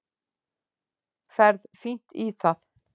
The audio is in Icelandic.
Ferð fínt í það.